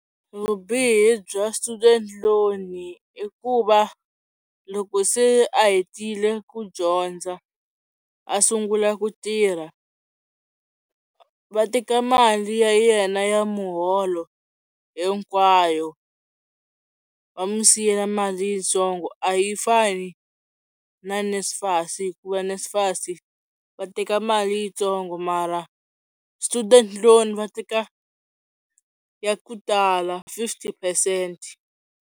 Vubihi bya student loan i ku va loko se a hetile ku dyondza a sungula ku tirha va teka mali ya yena ya muholo hinkwayo va n'wi siyela mali yitsongo, a yi fani na NSFAS hikuva NSFAS va teka mali yitsongo mara student loans va teka ya ku tala fifty percent.